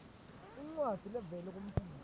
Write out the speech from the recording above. incwadzi levela kumtimba